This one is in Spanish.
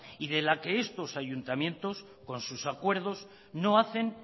y de la que estos ayuntamientos con sus acuerdos no hacen